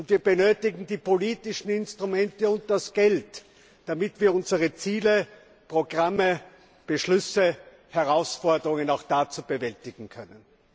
Wir benötigen die politischen Instrumente und das Geld, damit wir unsere Ziele, Programme, Beschlüsse und Herausforderungen auch bewältigen können.